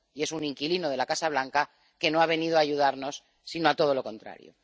Y es un inquilino de la Casa Blanca que no ha venido a ayudarnos, sino a todo lo contrario.